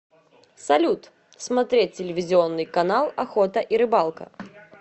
салют смотреть телевизионный канал охота и рыбалка